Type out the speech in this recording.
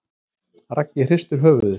Raggi hristir höfuðið.